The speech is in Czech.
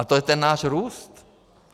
A to je ten náš růst.